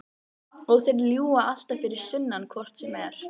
Og þeir ljúga alltaf fyrir sunnan hvort sem er.